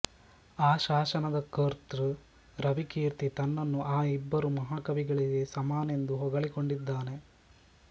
ಆ ಶಾಸನದ ಕರ್ತೃ ರವಿಕೀರ್ತಿ ತನ್ನನ್ನು ಆ ಇಬ್ಬರು ಮಹಾಕವಿಗಳಿಗೆ ಸಮನೆಂದು ಹೊಗಳಿಕೊಂಡಿದ್ದಾನೆ